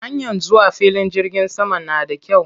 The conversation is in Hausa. Hanyar zuwa filin jirgin saman na da kyau.